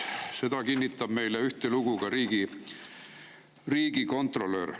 Seda kinnitab meile ühtelugu ka riigikontrolör.